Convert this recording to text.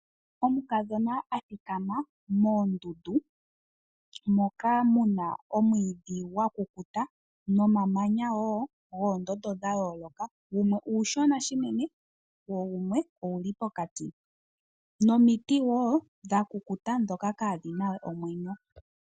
Omukadhona a thikama moondundu moka mu na omwiidhi gwa kukuta nomamanya wo guunene wa yoolokathana. Gamwe omashona unene go gamwe oge li pokati nomiti wo dha kukuta ndhoka kaadhi na we omwenyo.